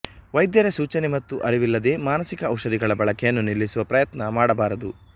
ವೈದ್ಯರ ಸೂಚನೆ ಮತ್ತು ಅರಿವಿಲ್ಲದೆ ಮಾನಸಿಕ ಔಷಧಿಗಳ ಬಳಕೆಯನ್ನು ನಿಲ್ಲಿಸುವ ಪ್ರಯತ್ನ ಮಾಡಬಾರದು